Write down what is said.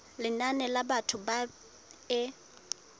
lenane la batho ba e